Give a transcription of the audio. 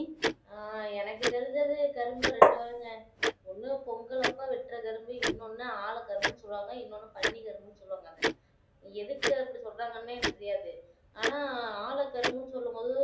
ஆஹ் எனக்கு தெரிஞ்சது கரும்புல ரெண்டு வகை ஒன்னு கரும்பு இன்னொண்டு ஆழ கரும்பு இன்னொன்று பணி கரும்பு எதுக்கு அப்படி சொல்ராங்கண்ணே எனக்கு தெரியாது ஆனா ஆழ கரும்பு சொல்லும்போது